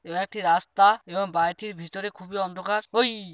এটা একটি রাস্তা এবং বায়োটির ভিতরে খুবই অন্ধকার। ওই-ই--